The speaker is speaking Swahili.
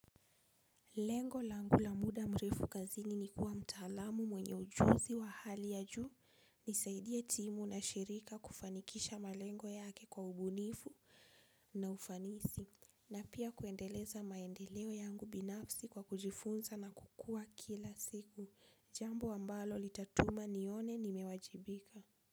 Lengo langu la muda mrefu kazini ni kuwa mtaalamu mwenye ujuzi wa hali ya juu, nisaidie timu na shirika kufanikisha malengo yake kwa ubunifu na ufanisi, na pia kuendeleza maendeleo yangu binafsi kwa kujifunza na kukua kila siku, jambo ambalo litatuma nione nimewajibika.